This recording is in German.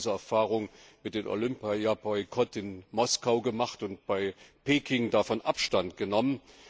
Wir haben diese Erfahrung ja mit dem Olympia Boykott in Moskau gemacht und bei Peking davon Abstand genommen.